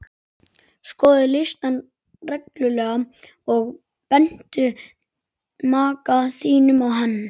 Skoðaðu listann reglulega og bentu maka þínum á hann.